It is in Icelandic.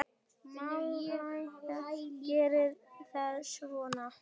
Má líka gera það svona